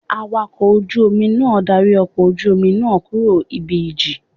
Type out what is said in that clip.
Awakọ̀ ojú Omi náà darí ọkọ̀ ojú Omi náà kúrò ibi ìjì